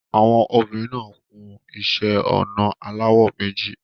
Àwọn obìnrin náà kun iṣẹ́-ọnà aláwọ̀ méjì.